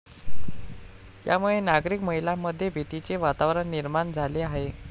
यामुळे नागरिक महिलामध्ये भीतीचे वातावरण निर्माण झाले आहे.